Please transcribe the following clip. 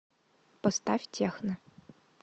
поставь техно